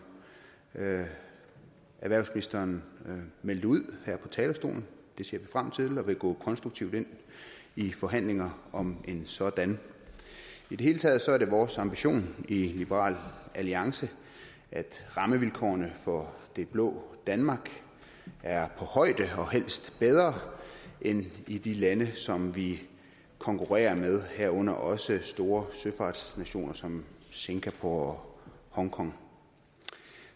erhvervsministeren meldte ud her fra talerstolen det ser vi frem til og vi vil gå konstruktivt ind i forhandlingerne om en sådan i det hele taget er det vores ambition i liberal alliance at rammevilkårene for det blå danmark er på højde og helst bedre end i de lande som vi konkurrerer med herunder også store søfartsnationer som singapore og hongkong